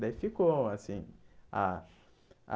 Daí, ficou assim. A a